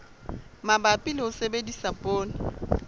mabapi le ho sebedisa poone